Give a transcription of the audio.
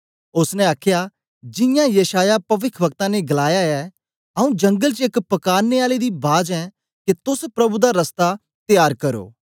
ओसने आखया जियां यशायाह पविखवक्ता ने गलाया ऐ आऊँ जंगलें च एक पकारने आले दी बाज ऐं के तोस प्रभु दा रस्ता त्यार करो